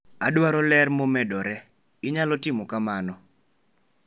adwaro ler momedore. Inyalo timo kamano